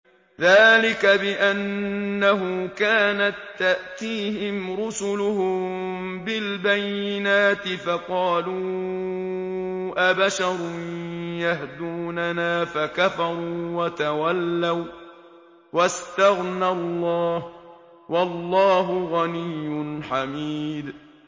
ذَٰلِكَ بِأَنَّهُ كَانَت تَّأْتِيهِمْ رُسُلُهُم بِالْبَيِّنَاتِ فَقَالُوا أَبَشَرٌ يَهْدُونَنَا فَكَفَرُوا وَتَوَلَّوا ۚ وَّاسْتَغْنَى اللَّهُ ۚ وَاللَّهُ غَنِيٌّ حَمِيدٌ